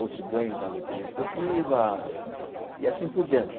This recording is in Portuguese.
outros ganham na loteria esportiva e assim por diante.